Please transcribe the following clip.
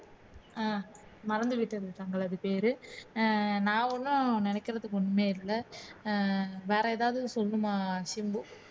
ஹம் மறந்துவிட்டது தங்களது பேரு நான் ஒன்னும் நினைக்கிறதுக்கு ஒண்ணுமே இல்லை அஹ் வேற ஏதாவது சொல்லணுமா சிம்பு